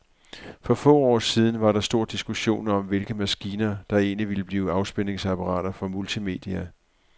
For få år siden var der stor diskussion om, hvilke maskiner, der egentlig ville blive afspilningsapparater for multimedia.